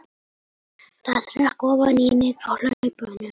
Það hrökk ofan í mig á hlaupunum.